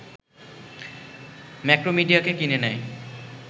ম্যাক্রোমিডিয়াকে কিনে নেয়